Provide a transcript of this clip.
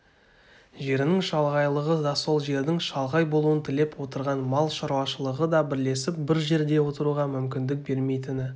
жерінің шалғайлығы да сол жердің шалғай болуын тілеп отырған мал шаруашылығы да бірлесіп бір жерде отыруға мүмкіндік бермейтіні